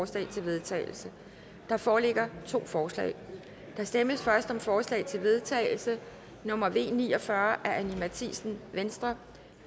til vedtagelse der foreligger to forslag der stemmes først om forslag til vedtagelse nummer v ni og fyrre af anni matthiesen